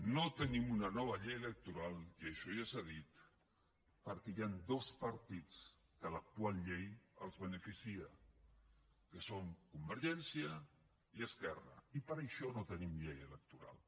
no tenim una nova llei electoral i això ja s’ha dit perquè hi han dos partits que l’actual llei els beneficia que són convergència i esquerra i per això no tenim llei electoral